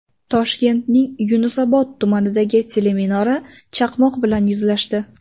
Toshkentning Yunusobod tumanidagi teleminora chaqmoq bilan yuzlashdi.